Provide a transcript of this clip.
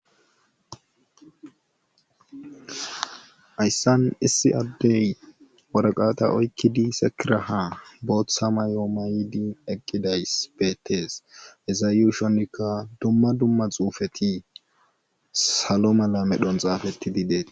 Hayssan issi addey warqata oykkidi sekiraha booththa mayoo ma yidi eqqidays beettees eza yuushonikka dumma dumma xuufeti salo mala medhon xaafetti di beet.